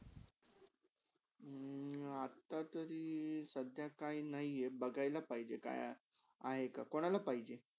हम्म अता तारी साध्या काय नाही आहे बघायला पाहीजेका काय आहे का कुणला पाहिजे?